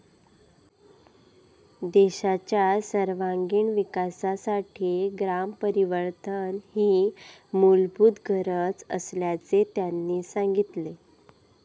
देशाच्या सर्वांगिण विकासासाठी ग्रामपरिवर्तन ही मूलभूत गरज असल्याचे त्यांनी सांगितले.